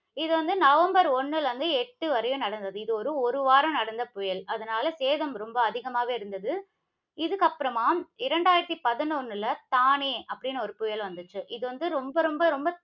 இது வந்து நவம்பர் ஒண்ணுல இருந்து, எட்டு வரையும் நடந்தது. இது ஒரு, ஒரு வாரம் நடந்த புயல். அதனால சேதம் ரொம்ப அதிகமாக இருந்தது. இதுக்கப்புறமா, இரண்டாயிரத்தி பதினொண்ணுல, தானே அப்படின்னு ஒரு புயல் வந்துச்சு. இது வந்து ரொம்ப ரொம்ப ரொம்ப